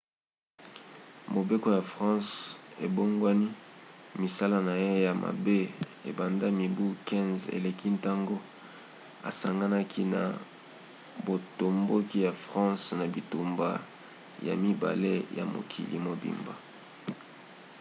mobeko ya france ebongwani. misala na ye ya mabe ebanda mibu 15 eleki ntango asanganaki na botomboki ya france na bitumba ya mibale ya mokili mobimba